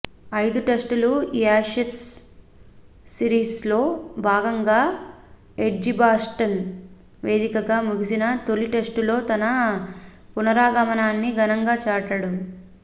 ఐదు టెస్టుల యాషెస్ సిరిస్లో భాగంగా ఎడ్జిబాస్టన్ వేదికగా ముగిసిన తొలి టెస్టులో తన పునరాగమనాన్ని ఘనంగా చాటాడు